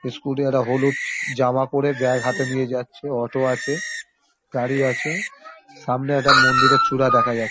Scooty একটা হলুদ জামা পরে ব্যাগ হাতে নিয়ে যাচ্ছে। অটো আছে গাড়ি আছে সামনে একটা মন্দিরের চূড়া দেখা যাচ্ছে ।